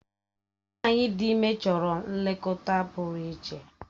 Nwanyi ịdị ime chọrọ nlekọta pụrụ iche.